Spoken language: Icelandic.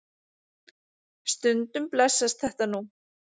Stundum blessast þetta nú.